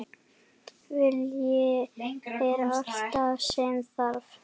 Vilji er allt sem þarf!